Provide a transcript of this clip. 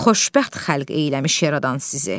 Xoşbəxt xəlq eyləmiş yaradan sizi.